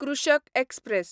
कृषक एक्सप्रॅस